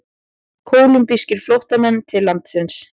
Kólumbískir flóttamenn til landsins